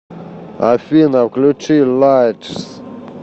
афина включи лайтс